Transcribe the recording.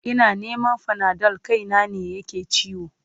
Ina neman fanadol kaina ne yake ciwo.